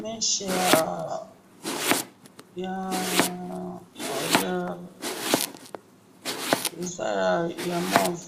meche ya ya hee eza ya move